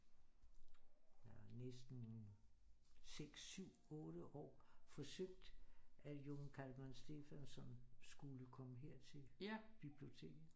Næsten 6 7 8 år forsøgt at Jón Kalman Stefánsson skulle komme her til biblioteket